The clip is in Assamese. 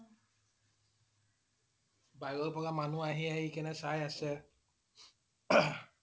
বাহিৰৰ পৰা মানুহ আহি আহি কেনে চাই আছে